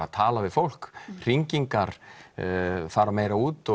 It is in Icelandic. að tala við fólk hringingar fara meira út